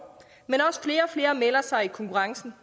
men også flere og flere melder sig i konkurrencen